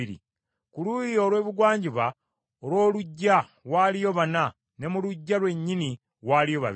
Ku luuyi olw’ebugwanjuba olw’oluggya waaliyo bana, ne mu Luggya lwennyini waaliyo babiri.